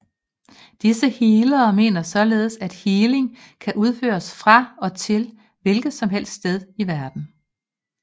Disse healere mener således at healing kan udføres fra og til hvilket som helst sted i verden